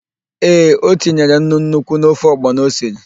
Ee, o tinyere nnu nnukwu n'ofe ọgbọnọ o siri.